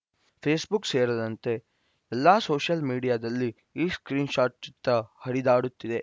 Facebook ಸೇರದಂತೆ ಎಲ್ಲಾ social ಮೀಡಿಯಾದಲ್ಲಿ ಈ ಸ್ಕ್ರೀನ್‌ಶಾಟ್‌ ಚಿತ್ರ ಹರಿದಾಡುತ್ತಿದೆ